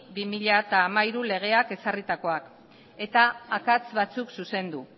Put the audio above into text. barra bi mila hamairu legeak ezarritakoak eta akats batzuk zuzendu